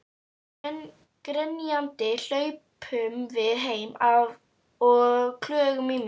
Grenjandi hlaupum við heim og klögum í mömmu.